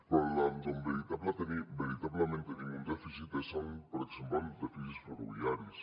però on veritablement tenim un dèficit és per exemple en dèficits ferroviaris